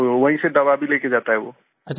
तो वहीँ से दवा भी लेके जाता है वो